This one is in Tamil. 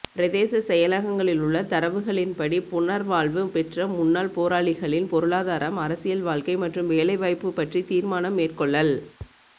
பிரதேச செயலகங்களிலுள்ள தரவுகளின்படி புனர்வாழ்வு பெற்ற முன்னாள் போராளிகளின் பொருளாதாரம் அரசியல் வாழ்க்கை மற்றும் வேலைவாய்ப்பு பற்றி தீர்மானம் மேற்கொள்ளல்